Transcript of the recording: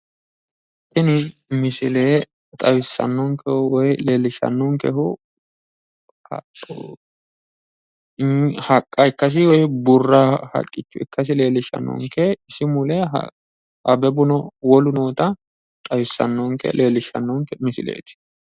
Tini misile xawissannonkehu woyi leellishshannonkehu haqqa ikkasi woyi burra haqqicho ikkasi leellishannonke isi mule abebuno wolu noota lewllishshannonke misileeti.